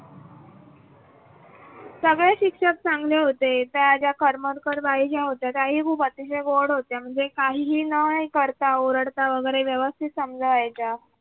सगळे शिक्षक चांगले होते त्या ज्या करमरकरबाई ज्या होत्या. अतिशय गॉड होत्या काही काहीही नाही करता ओरडता वगैरे व्यवस्थित समजायच्या.